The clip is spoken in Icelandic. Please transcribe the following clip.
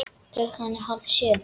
Klukkan er hálf sjö.